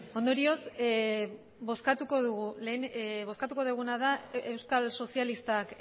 ondorioz bozkatuko dugu lehen bozkatuko duguna da euskal sozialistak